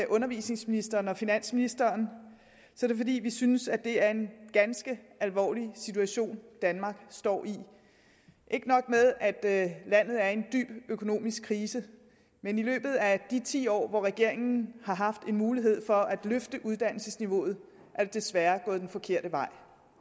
undervisningsministeren og finansministeren er det fordi vi synes det er en ganske alvorlig situation danmark står i ikke nok med at at landet er i en dyb økonomisk krise men i løbet af de ti år hvor regeringen har haft mulighed for at løfte uddannelsesniveauet er det desværre gået den forkerte vej